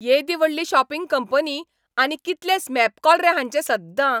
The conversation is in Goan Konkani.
येदी व्हडली शॉपिंग कंपनी, आनी कितले स्मॅप कॉल रे हांचे सद्दां!